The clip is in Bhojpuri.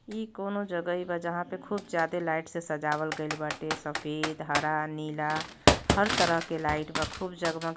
ई कौनो जगहि बा। जहां पे खूब ज्यादा लाइट से सजावल गईल बाटे। सफेद हरा नीला हर तरह की लाइट बा खूब जगमग --